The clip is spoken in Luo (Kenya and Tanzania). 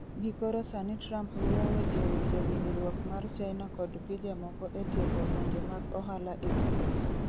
gi koro sani Trump luwo weche weche winjruok mar China kod pije moko e tieko lwenje mag ohala e kindgi